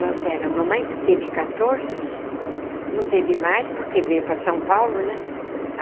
Nós éramos... mamãe teve quatorze... não teve mais porque veio para São Paulo, né?